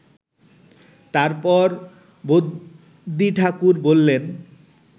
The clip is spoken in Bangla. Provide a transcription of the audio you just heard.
তারপর বদ্যিঠাকুর বললেন